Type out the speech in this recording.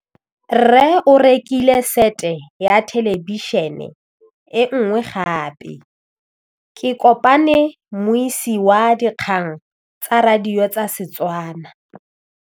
Rre o rekile sete ya thêlêbišênê e nngwe gape. Ke kopane mmuisi w dikgang tsa radio tsa Setswana.